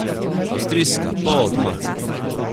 Avstrijska, polavtomatska.